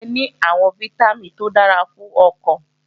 Ọ̀gẹ̀dẹ̀ ní àwọn fítámìn tó dára fún ọkàn